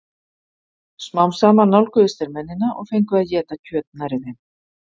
smám saman nálguðust þeir mennina og fengu að éta kjöt nærri þeim